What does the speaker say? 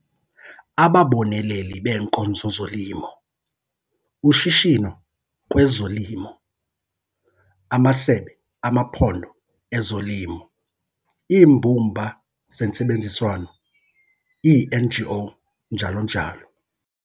Ababoneleli beenkonzo zolimo - Ushishino kwezolimo, amasebe amaphondo ezolimo, iimbumba zentsebenziswano, iiNGO, njalo njalo.